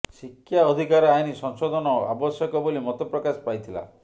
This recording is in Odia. ଶିକ୍ଷା ଅଧିକାର ଆଇନ୍ ସଂଶୋଧନ ଆବଶ୍ୟକ ବୋଲି ମତପ୍ରକାଶ ପାଇଥିଲା